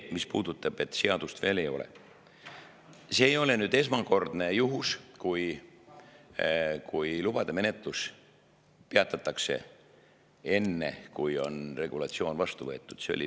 Mis puudutab seda, et seadust veel ei ole, see ei ole esmakordne juhus, kui lubade menetlus peatatakse enne, kui on regulatsioon vastu võetud.